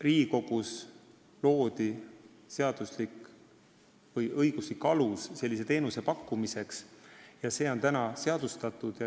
Riigikogus loodi õiguslik alus sellise teenuse pakkumiseks ja see on praeguseks seadustatud.